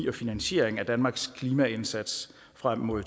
og finansieringen af danmarks klimaindsats frem mod